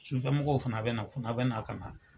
Sufamɔgɔw fana bɛ na, u fana bɛ naa ka na .